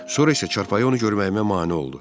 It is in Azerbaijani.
Sonra isə çarpayı onu görməyimə mane oldu.